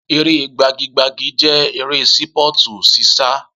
Eré gbagi gbagi jẹ́ eré Sípọ̀tù ṣíṣá